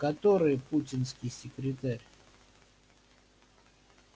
который путинский секретарь